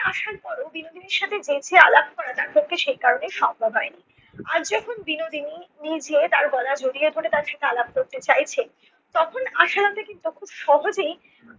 পরও বিনোদিনীর সাথে জেঁচে আলাপ করা তার পক্ষে সে কারণে সম্ভব হয় নি। আজ যখন বিনোদিনী নিজে তার গলা জড়িয়ে ধরে তার সাথে আলাপ করতে চাইছে তখন আশালতা কিন্তু খুব সহজেই